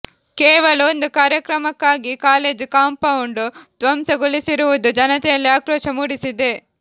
ಕೇವಲ ಒಂದು ಕಾರ್ಯಕ್ರಮಕ್ಕಾಗಿ ಕಾಲೇಜು ಕಂಪೌಂಡ್ ಧ್ವಂಸಗೊಳಿಸಿರುವುದು ಜನತೆಯಲ್ಲಿ ಆಕ್ರೋಶ ಮೂಡಿಸಿದೆ